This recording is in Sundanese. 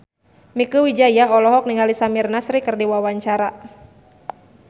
Mieke Wijaya olohok ningali Samir Nasri keur diwawancara